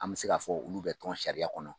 An bɛ se k'a fɔ olu bɛ tɔn sariya kɔnɔ.